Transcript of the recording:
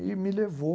E me levou.